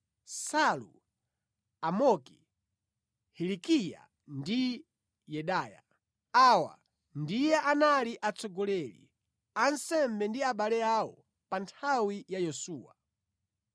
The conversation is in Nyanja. Salu, Amoki, Hilikiya ndi Yedaya. Awa ndiye anali atsogoleri a ansembe ndi abale awo pa nthawi ya Yesuwa.